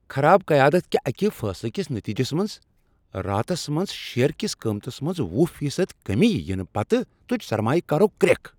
خراب قیادت کہ اکہ فیصلہٕ کِس نتیجَس منٛز راتس منٛز شیٚیر کس قیمتس منٛز وہُ فی صد کمی ینہٕ پتہٕ تُج سرمایہ کارو کریکھ